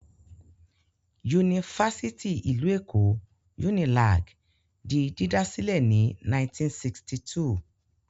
Yunifásítì ìlú Èkó (Unilag) di dídá sílẹ̀ ní 1962.